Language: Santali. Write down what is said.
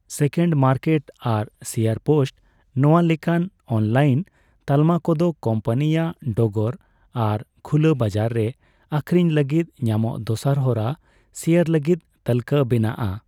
ᱥᱮᱠᱮᱱᱰ ᱢᱟᱨᱠᱮᱴ ᱟᱨ ᱥᱮᱭᱟᱨ ᱯᱳᱥᱴᱼᱱᱚᱣᱟ ᱞᱮᱠᱟᱱ ᱚᱱᱞᱟᱭᱤᱱ ᱛᱟᱞᱢᱟ ᱠᱚᱫᱚ ᱠᱳᱢᱯᱟᱱᱤᱭᱟᱜ ᱰᱚᱜᱚᱨ ᱟᱨ ᱠᱷᱩᱞᱟᱹ ᱵᱟᱡᱟᱨ ᱨᱮ ᱟᱹᱠᱷᱨᱤᱧ ᱞᱟᱹᱜᱤᱫ ᱧᱟᱢᱚᱜ ᱫᱚᱥᱟᱨ ᱦᱚᱨᱟ ᱥᱮᱭᱟᱨ ᱞᱟᱹᱜᱤᱫ ᱛᱟᱞᱠᱟᱹ ᱵᱮᱱᱟᱜᱼᱟ ᱾